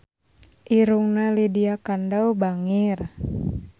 Irungna Lydia Kandou bangir